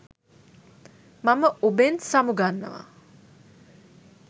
මම ඔබෙන් සමු ගන්නවා.